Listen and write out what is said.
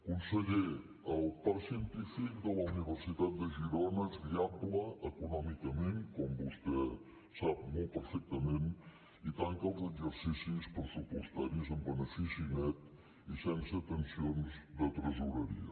conseller el parc científic de la universitat de girona és viable econòmicament com vostè sap molt perfectament i tanca els exercicis pressupostaris amb benefici net i sense tensions de tresoreria